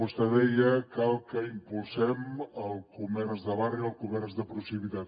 vostè deia cal que impulsem el comerç de barri el comerç de proximitat